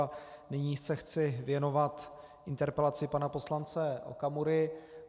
A nyní se chci věnovat interpelaci pana poslance Okamury.